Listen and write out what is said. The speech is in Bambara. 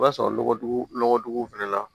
O b'a sɔrɔ nɔgɔdugu nɔgɔduguw fɛnɛ na